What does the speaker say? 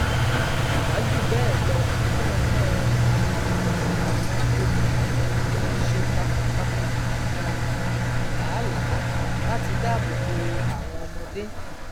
kò bá jù bẹẹ lọ ọpẹlọpẹ um àwọn olùkọ ti wọn ṣe takuntakun um làálàá láti dáàbò bo àwọn ọmọdé